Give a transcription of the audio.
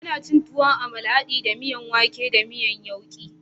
Ana cin tuwon amala hade da miyan wake da miyan yauke